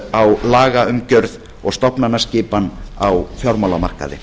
á lagaumgjörð og stofnanaskipan á fjármálamarkaði